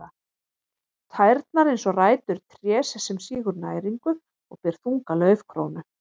Tærnar eins og rætur trés sem sýgur næringu og ber þunga laufkrónu.